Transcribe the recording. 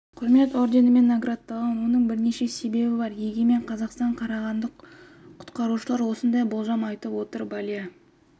құрмет орденімен наградталған оның бірнеше себебі бар егемен қазақстан қарағанды құтқарушылары осындай болжам айтып отыр балия